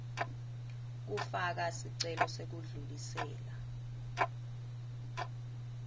kufaka sicelo sekudlulisela